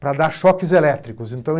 para dar choques elétricos, então